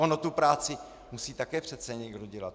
Ono tu práci musí také přece někdo dělat.